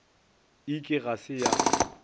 e ke ga se ya